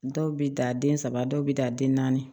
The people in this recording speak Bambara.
Dɔw bɛ dan den saba dɔw bɛ dan den naani